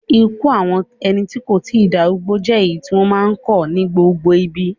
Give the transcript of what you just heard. Ikú àwọn ẹni tí kò tí darúgbó jẹ́ èyí tí wọ́n máa ń kọ̀ ní gbogbo ibi.